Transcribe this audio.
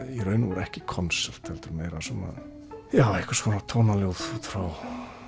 í raun og veru ekki konsert heldur meira svona tónaljóð út frá